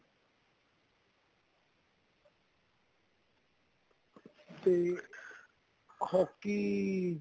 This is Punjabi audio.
ਤੇ hockey